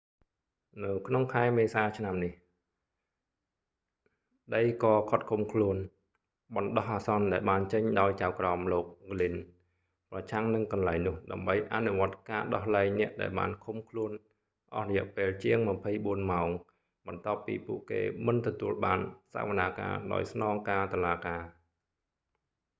នៅក្នុងខែមេសាឆ្នាំនេះ ដីកឃាត់ឃុំខ្លួនបណ្តោះអាសន្នដែលបានចេញដោយចៅក្រមលោក ហ្គ្លីន glynn ប្រឆាំងនឹងកន្លែងនោះដើម្បីអនុវត្តការដោះលែងអ្នកដែលបានឃុំខ្លួនអស់រយៈពេលជាង 24 ម៉ោងបន្ទាប់ពីពួកគេមិនទទួលបានសវនាការដោយស្នងការតុលាការ